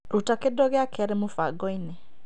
Ruta kĩndũ gĩa kerĩ mũbango-inĩ .